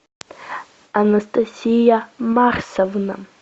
анастасия марсовна